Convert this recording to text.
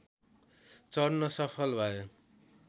चढ्न सफल भए।